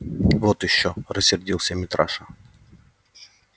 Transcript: вот ещё рассердился митраша